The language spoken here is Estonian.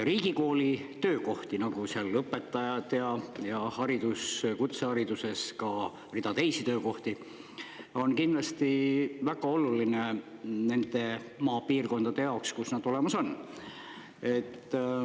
Riigikooli töökohti, nagu seal õpetajad ja kutsehariduses ka rida teisi töökohti, on kindlasti väga oluline nende maapiirkondade jaoks, kus nad olemas on.